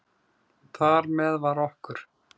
Þar með var okkur